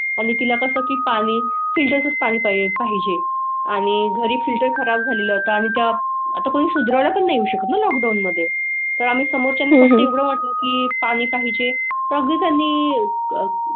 आणि तिला कसं की पाणी फिल्टर चं पाणी पाहिले पाहिजे आणि घरी फिल्टर खराब झालेला होता आणि त्या आता कोणी सुधारणा पण येऊ शकत नाही. लॉकडाऊन मध्ये तर आम्ही समोरच्या म्हणून की पाणी पाहिजे तज्ञांनी.